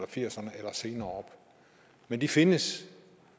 firserne eller senere år men de findes